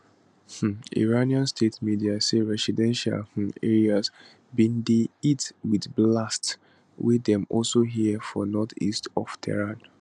um iranian state media say residential um areas bin dey hit wit blasts wey dem also hear for northeast of tehran